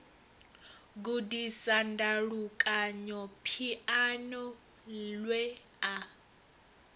gudisa ndalukanyo phiano lwe a